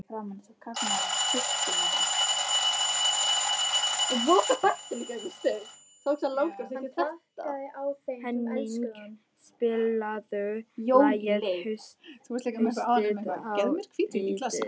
Henning, spilaðu lagið „Haustið á liti“.